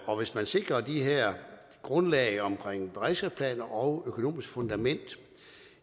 og hvis man sikrer de her grundlag om beredskabsplaner og økonomisk fundament vil